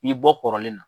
I bɔ kɔrɔlen na